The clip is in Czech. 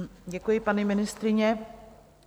Děkuji, paní ministryně.